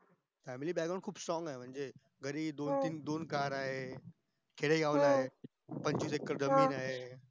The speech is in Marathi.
family background खूप strong आहे म्हणजे घरी दोन दोन तीन car आहे खेडेगाव मध्ये आहे पंचवीस एकर जमीन आहे